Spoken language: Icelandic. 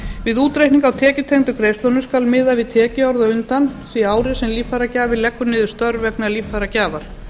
við útreikning á tekjutengdu greiðslunum skal miða við tekjuárið á undan því ári sem líffæragjafi leggur niður störf vegna líffæragjafar